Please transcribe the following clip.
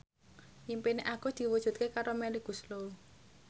impine Agus diwujudke karo Melly Goeslaw